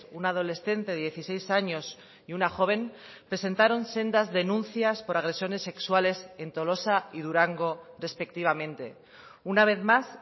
una adolescente de dieciséis años y una joven presentaron sendas denuncias por agresiones sexuales en tolosa y durango respectivamente una vez más